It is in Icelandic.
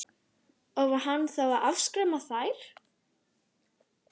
Og var hann þá að afskræma þær?